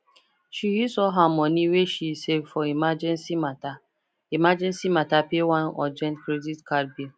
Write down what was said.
she use all her money wey she save for emergency matter emergency matter pay one urgent credit card bill